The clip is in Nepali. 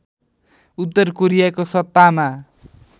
उत्तर कोरियाको सत्तामा